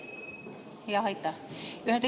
Jah, aitäh!